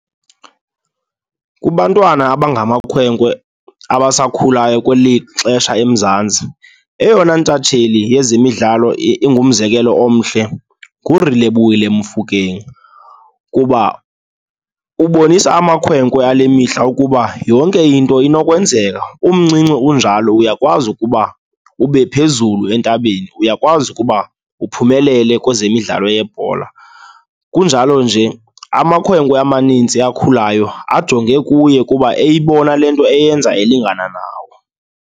Kubantwana abangamakhwenkwe abasakhulayo kweli xesha eMzantsi, eyona intatsheli yezemidlalo ingumzekelo omhle nguRelebohile Mofokeng kuba ubonisa amakhwenkwe ale mihla ukuba yonke into inokwenzeka. Umncinci unjalo uyakwazi ukuba ube phezulu entabeni, uyakwazi ukuba uphumelele kwezemidlalo yebhola. Kunjalo nje amakhwenkwe amanintsi akhulayo ajonge kuye kuba eyibona le nto eyenza elingana nawo.